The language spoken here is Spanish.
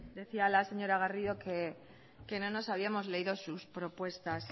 decía la señora garrido que no nos habíamos leído sus propuestas